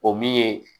O min ye